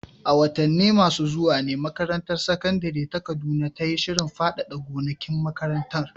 A watanni masu zuwa ne makarantar sakandare ta Kaduna ta yi shirin faɗaɗa gonakin makarantar.